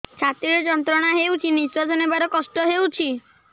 ଛାତି ରେ ଯନ୍ତ୍ରଣା ହେଉଛି ନିଶ୍ଵାସ ନେବାର କଷ୍ଟ ହେଉଛି